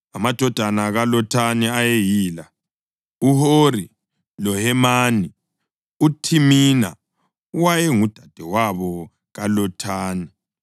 Amadodana kaLothani ayeyila: uHori loHemani. UThimina wayengudadewabo kaLothani.